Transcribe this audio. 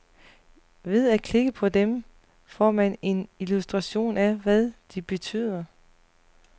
Ved at klikke på dem, får man en illustration af, hvad de betyder.